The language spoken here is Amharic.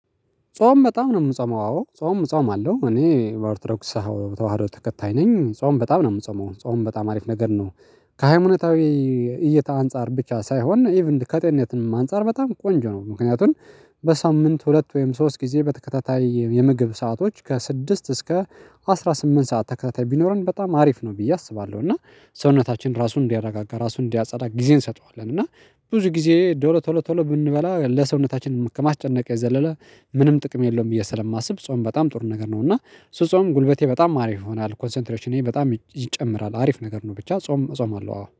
ጾም በጣም ነው የምጾመው። አዎ ጾም እጾማለሁእኔ በኦርቶዶክስ ተዋህዶ ተከታይ ነኝ። ጾም በጣም ነው የምጾመው ጾም በጣም አሪፍ ነገር ነው። ከሃይማኖታዊ እይታ አንፃር ብቻ ሳይሆን ኢቭን ከጤነትንም አንፃር በጣም ቆንጆ ነው። ምክንያቱም በሳምንት ሁለት ወይም ሶስት ጊዜ በተከታታይ የምግብ ሰአቶች ከስድስት እስከ አስራ ስምንት ሰዓት ተከታታይ ቢኖረን በጣም አሪፍ ነው ብዬ አስባለሁ። እና ሰውነታችን ራሱን እንዲያረጋጋ ራሱን እንዲያጸዳ ጊዜ እንሰጠዋለን። እና ብዙ ጊዜ ዶሮ ቶሎ ቶሎ ብንበላ ለሰውነታችን ከማስጨነቅ የዘለለ ምንም ጥቅም የለውም ብዬ ስለማስብ ጾም በጣም ጥሩ ነገር ነው። እና ስጾም ጉልበቴ በጣም አሪፍ ይሆናል ኮንሰንትሬሽኔ በጣም ይጨምራል አሪፍ ነገር ነው። ብቻ ጾም እጾማለሁ አዎ።